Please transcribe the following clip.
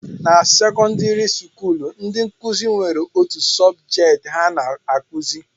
Na sekọndịrị skuulu, ndị nkụzi nwere otu sọbjet ha na-akụzi